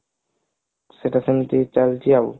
ସେଟା ସେମତି ଚାଲିଛି ଆଉ